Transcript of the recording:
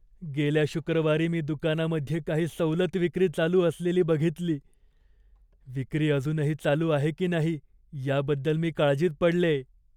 गेल्या शुक्रवारी मी दुकानामध्ये काही सवलत विक्री चालू असलेली बघितली. विक्री अजूनही चालू आहे की नाही याबद्दल मी काळजीत पडलेय.